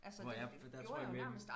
Nu har jeg der tror jeg mere